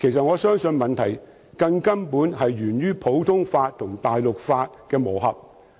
我相信問題根本是源於普通法和大陸法的磨合。